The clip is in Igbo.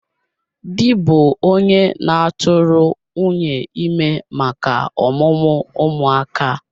Di bụ onye na-atụrụ nwunye ime maka ọmụmụ ụmụ aka